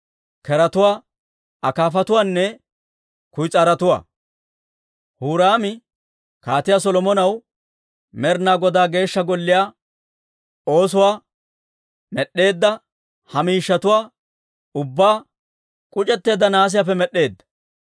Keretuwaa, akaafatuwaanne kuyis'aarotuwaa. Huraami kaatiyaa Solomonaw Med'inaa Godaa Geeshsha Golliyaa oosoo med'd'eedda ha miishshatuwaa ubbaa k'uc'etteedda nahaasiyaappe med'd'eedda.